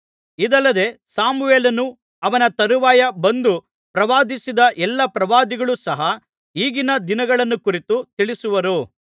ಇದಲ್ಲದೆ ಸಮುವೇಲನೂ ಅವನ ತರುವಾಯ ಬಂದು ಪ್ರವಾದಿಸಿದ ಎಲ್ಲಾ ಪ್ರವಾದಿಗಳೂ ಸಹ ಈಗಿನ ದಿನಗಳನ್ನು ಕುರಿತು ತಿಳಿಸಿರುವರು